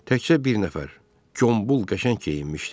Təkcə bir nəfər, Qombul qəşəng geyinmişdi.